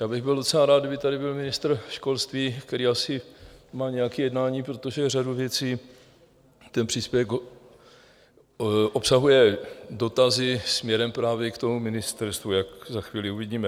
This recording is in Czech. Já bych byl docela rád, kdyby tady byl ministr školství, který asi má nějaké jednání, protože řadu věcí ten příspěvek obsahuje, dotazy směrem právě k tomu ministerstvu, jak za chvíli uvidíme.